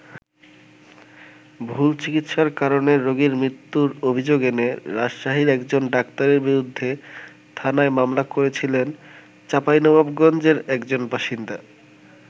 ভুল চিকিৎসার কারণে রোগীর মৃত্যুর অভিযোগ এনে রাজশাহীর একজন ডাক্তারের বিরুদ্ধে থানায় মামলা করেছিলেন চাঁপাইনবাবগঞ্জের একজন বাসিন্দা।